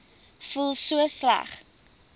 voel so sleg